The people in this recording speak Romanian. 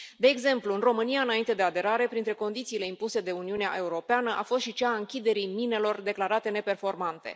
De exemplu, în România, înainte de aderare, printre condițiile impuse de Uniunea Europeană a fost și cea a închiderii minelor declarate neperformante.